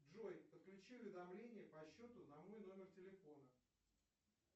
джой подключи уведомления по счету на мой номер телефона